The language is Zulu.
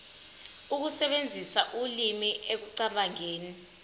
ukusebenzisa ulimi ekucabangeni